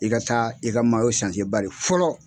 I ka taa i ka bari fɔlɔ